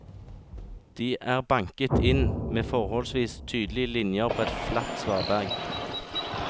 De er banket inn med forholdsvis tydelige linjer på et flatt svaberg.